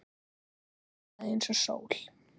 Heiða ljómaði eins og sól.